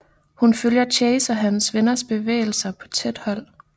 Hun følger Chase og hans venners bevægelser på tæt hold